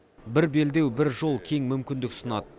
бір белдеу бір жол кең мүмкіндік ұсынады